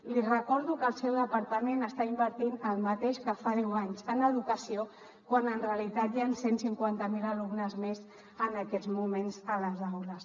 li recordo que el seu departament està invertint el mateix que fa deu anys en educació quan en realitat hi han cent i cinquanta miler alumnes més en aquests moments a les aules